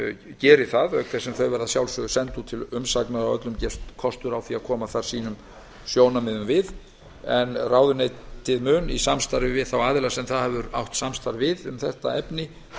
geri það auk þess sem þau verða að sjálfsögðu send út til umsagnar og öllum gefinn kostur á að koma sjónarmiðum sínum að ráðuneytið mun í samstarfi við þá aðila sem það hefur átt samstarf við um þetta efni